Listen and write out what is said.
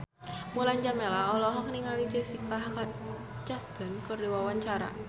Mulan Jameela olohok ningali Jessica Chastain keur diwawancara